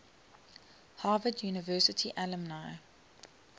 harvard university alumni